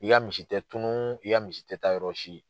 I' ya misi tɛ tunun, i y'a misi tɛ taa yɔrɔsi.